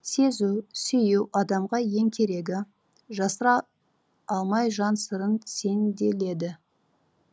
сезу сүю адамға ең керегі жасыра алмай жан сырын сенделеді